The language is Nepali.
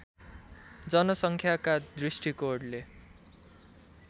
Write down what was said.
जनसङ्ख्याका दृष्टिकोणले